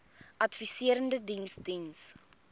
adviserende diens diens